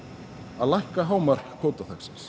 að lækka hámark